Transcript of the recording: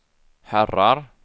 herrar